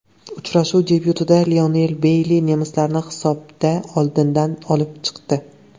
Uchrashuv debyutida Leon Beyli nemislarni hisobda oldinga olib chiqdi.